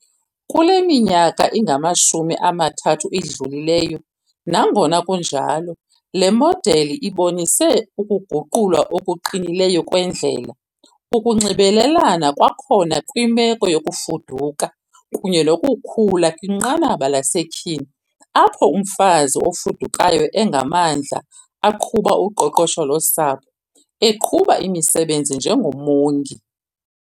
Kule minyaka ingamashumi amathathu idlulileyo, nangona kunjalo, le modeli ibonise ukuguqulwa okuqinileyo kwendlela, ukunxibelelana kwakhona kwimeko yokufuduka kunye nokukhula kwinqanaba lasetyhini, apho umfazi ofudukayo engamandla aqhuba uqoqosho losapho, eqhuba imisebenzi njengomongi.